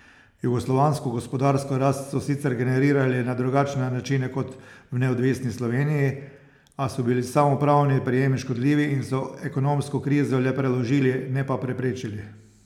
Jugoslovansko gospodarsko rast so sicer generirali na drugačne načine kot v neodvisni Sloveniji, a so bili samoupravni prijemi škodljivi in so ekonomsko krizo le preložili, ne pa preprečili.